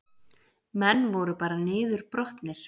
Menn voru bara niðurbrotnir